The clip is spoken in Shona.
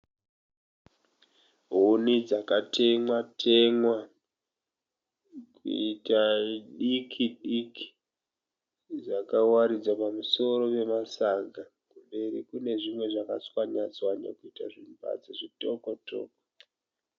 Huni dzaka temwa temwa kuita diki diki dzakawaridzwa pamusoro pema saga, mberi kune zvimwe zvaka tswanywa tswanywa kuita zvimbadzo zvitoko toko.